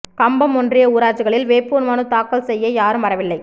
கம்பம் ஒன்றிய ஊராட்சிகளில் வேட்பு மனு தாக்கல் செய்யயாரும் வரவில்லை